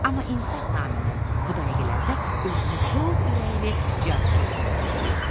Amma insaf naminə bu dəqiqələrdə özünü çox ürəkli, cəsur hiss eləyirdi.